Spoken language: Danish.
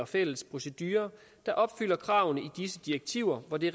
fælles procedurer der opfylder kravene i disse direktiver hvor det